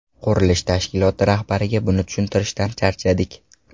Qurilish tashkiloti rahbariga buni tushuntirishdan charchadik.